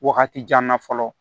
Wagati jan na fɔlɔ